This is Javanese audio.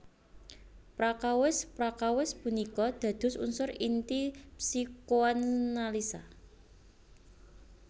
Prakawis prakawis punika dados unsur inti psikoanalisa